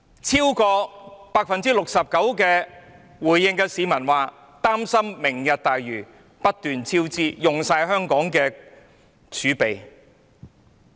超過 69% 回應的市民表示，擔心"明日大嶼願景"計劃不斷超支，花光香港的儲備。